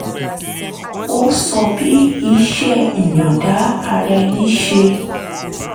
ó sọ bí iṣẹ́ ìyọ̀ǹda ara ẹni ṣe